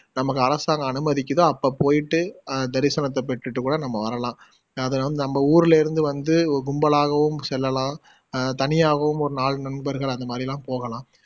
நம்பக்கு அரசாங்கம் அனுமதிக்குதோ அப்போ போயிட்டு அஹ் தரிசனத்தை பெற்றுட்டு கூட நம்ம வரலாம் நம்ப ஊருலே இருந்து வந்து கும்பலாகவும் செல்லலாம் அஹ் தனியாகவும் ஒரு நாலு நண்பர்கள் அந்த மாதிரியெலாம்போகலாம்